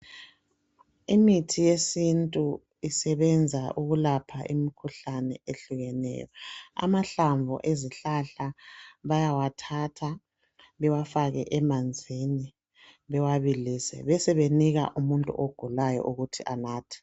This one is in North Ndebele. Imithi yesintu isebenza ukulapha imikhuhlane ehlukeneyo. Amahlamvu ezihlahla bayawathatha bewafake emanzini bewabilise besebenika umuntu ogulayo ukuthi anathe.